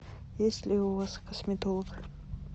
есть ли у вас косметолог